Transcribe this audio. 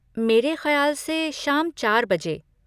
मेरे खयाल से शाम चार बजे।